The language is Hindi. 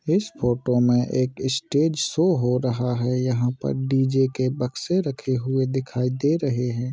इस फोटो मे एक इ स्टेज शो हो रहा है यहा पर डी.जे. के बक्से रखे हुए दिखाई दे रहे है।